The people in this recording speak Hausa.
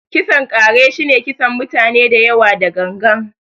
kisan ƙare shi ne kisan mutane dayawa da gangan.